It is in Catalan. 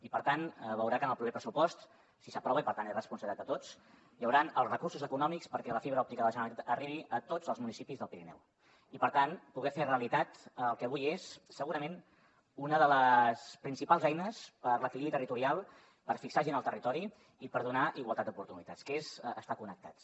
i per tant veurà que en el proper pressupost si s’aprova i per tant és responsabilitat de tots hi hauran els recursos econòmics perquè la fibra òptica de la generalitat arribi a tots els municipis del pirineu i per tant poder fer realitat el que avui és segurament una de les principals eines per a l’equilibri territorial per fixar gent al territori i per donar igualtat d’oportunitats que és estar connectats